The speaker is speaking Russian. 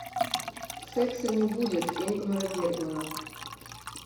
секса не будет ингмара бергмана